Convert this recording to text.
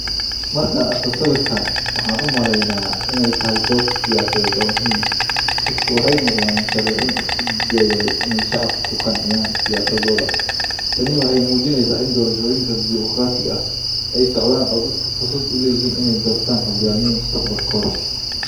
Markaan arko sawirkan, waxaan u malaynayaa in ay tahay dood siyaasadeed oo muhiim ah. Dadkan waxay u muuqdaan musharrixiin isku dayaya in ay shacabka ku qanciyaan siyaasadooda. Tani waxay muujinaysaa in doorashooyin dimoqraadi ah ay socdaan, oo dadku fursad u leeyihiin in ay doortaan hogaamiye mustaqbalkooda.